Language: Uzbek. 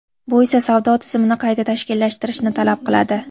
Bu esa savdo tizimini qayta tashkillashtirishni talab qiladi.